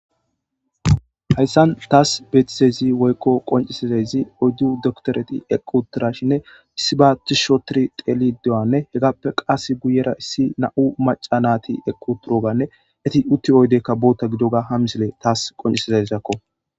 hayssan taas beetizezi woykko qoncisizayzi oyddu dokitoreti equtirashinne issibaati shotiri telidoyanne hegappe qas guyera issi na7u maca nati eqquturoganne eti utti oydeykka bootta gidoga hamsile taas qoncisizazakko